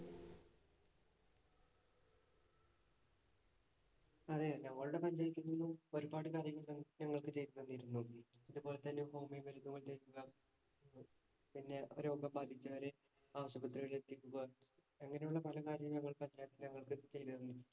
അതെ ഞങ്ങളുടെ പഞ്ചായത്തുകളിൽ നിന്നും ഒരുപാട് കാര്യങ്ങൾ ഞങ്ങൾക്ക് ചെയ്തു തന്നിരുന്നു. അതുപോലെ തന്നെ ഹോമിയോ മരുന്നുകൾ പിന്നെ രോഗം ബാധിച്ചവരെ ആശുപത്രികളില്‍ എത്തിക്കുക അങ്ങനെയുള്ള പല കാര്യങ്ങള്‍ പഞ്ചായത്ത്‌ ഞങ്ങള്‍ക്ക് ചെയ്തു തന്നിരുന്നു.